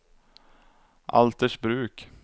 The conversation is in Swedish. Altersbruk